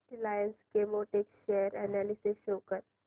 Reliance Chemotex share analysis show कर